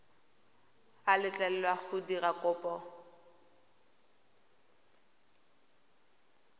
a letlelelwa go dira kopo